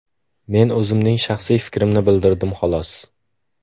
Men o‘zimning shaxsiy fikrimni bildirdim, xolos.